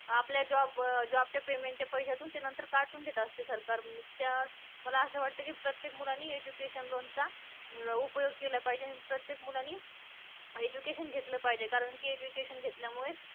आपल्या job वर job चे payment पैसेतून कातून घेत असतात सरकार या मला असं वाटत कि प्रत्येक मुलाने education loan उपयोग केला पाहिजे, प्रत्येक मुलाने education घेतलं पाहिजे कारण की education घेतल्या मुळे